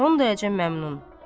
Son dərəcə məmnun.